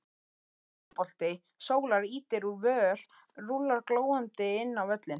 Straubolti sólar ýtir úr vör rúllar glóandi inn á völlinn